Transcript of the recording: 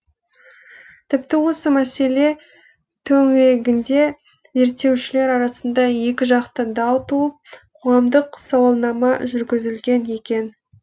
тіпті осы мәселе төңірегінде зерттеушілер арасында екіжақты дау туып қоғамдық сауалнама жүргізілген екен